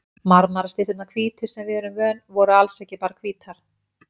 Marmarastytturnar hvítu, sem við erum vön, voru alls ekki bara hvítar.